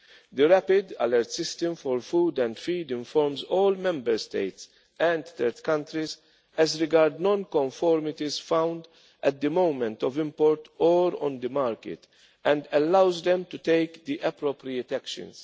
origin. The Rapid Alert System for Food and Feed informs all Member States and third countries as regards non conformities found at the moment of import or on the market and allows them to take the appropriate